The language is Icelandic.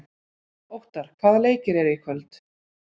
Óttarr, hvaða leikir eru í kvöld?